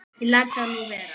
Ég læt það nú vera.